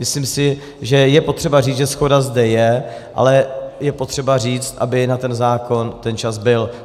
Myslím si, že je potřeba říct, že shoda zde je, ale je potřeba říct, aby na ten zákon ten čas byl.